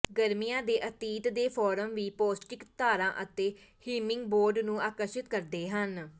ਗਰਮੀਆਂ ਦੇ ਅਤੀਤ ਦੇ ਫਾਰਮ ਵੀ ਪੌਸ਼ਟਿਕ ਤਾਰਾਂ ਅਤੇ ਹਿਮਿੰਗਬੋਰਡ ਨੂੰ ਆਕਰਸ਼ਿਤ ਕਰਦੇ ਹਨ